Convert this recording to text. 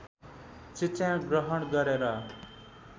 शिक्षा ग्रहण गरेर